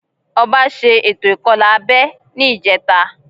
Ọba ṣe ètò ìkọlà abẹ́ ní ìjẹta